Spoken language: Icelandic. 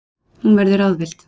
Hún verður ráðvillt.